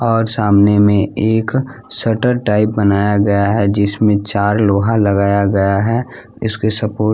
और सामने में एक शटर टाइप बनाया गया है जिसमें चार लोहा लगाया गया है इसके सपोर्ट --